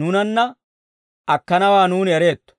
nuunanna akkanawaa nuuni ereetto.